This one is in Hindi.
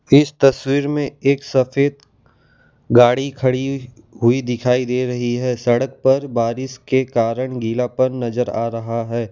इस तस्वीर में एक सफेद गाड़ी खड़ी हुई दिखाई दे रही है सड़क पर बारिश के कारण गीलापन नजर आ रहा है।